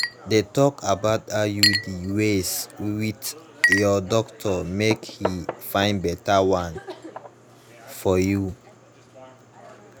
de talk about iud ways with ur doctor mk he find better one for you